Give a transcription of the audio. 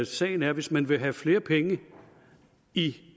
sagen er at hvis man vil have flere penge i